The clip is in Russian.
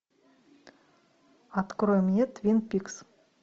открой мне твин пикс